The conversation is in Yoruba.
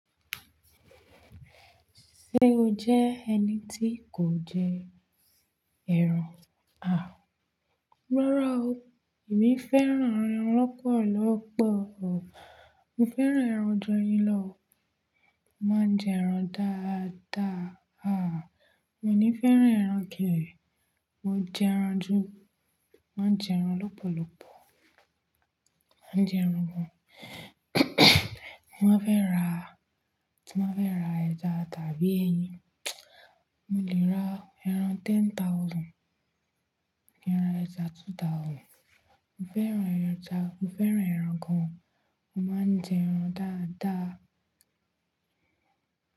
Ṣé o jẹ́ ẹni tí kò jẹ ẹran? À, rárá o, èmi fẹ́ràn ẹran lọ́pọ̀lọ́pọ̀ o. Mo fẹ́ràn ẹran ju eyin lọ o. Mo máa ń jẹ ẹran dáadáa. À, mio ní fẹ́ràn ẹran ke. Mo jẹ ẹran jú, máa ń jẹ ẹran lọ́pọ̀lọ́pọ̀. Mo ń jẹ ẹran gan. Mo máa fẹ́ ra, tí mo fẹ́ ra ẹja tàbí ẹyin, mo lè ra ẹran ten thousand, ẹran ẹja two thousand. Mo fẹ́ràn ẹran ẹja, mo fẹ́ràn ẹran gan. Mo máa ń jẹ ẹran dáadáa.